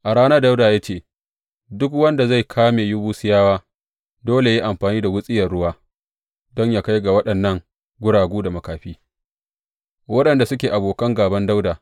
A ranar, Dawuda ya ce, Duk wanda zai kame Yebusiyawa, dole yă yi amfani da wuriyar ruwa don yă kai ga waɗannan guragu da makafi’ waɗanda suke abokan gāban Dawuda.